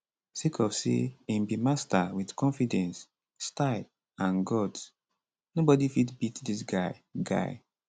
sake of say im be master wit confidence style and guts nobody fit beat dis guy guy